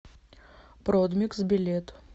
продмикс билет